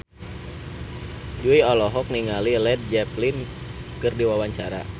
Jui olohok ningali Led Zeppelin keur diwawancara